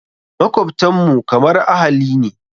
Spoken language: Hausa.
Makwabtan mu kamar ahali ne.